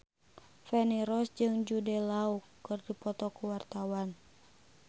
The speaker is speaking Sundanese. Feni Rose jeung Jude Law keur dipoto ku wartawan